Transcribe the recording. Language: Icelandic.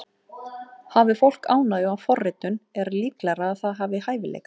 Hafi fólk ánægju af forritun er líklegra að það hafi hæfileika.